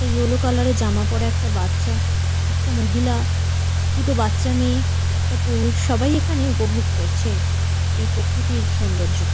একটা yellow colour -এর জামা পড়া একটা বাচ্চা একটা মহিলা দুটো বাচ্চা মেয়ে একটা পুরুষ সবাই এখানে উপভোগ করছে এই প্রকৃতির সৌন্দর্যকে।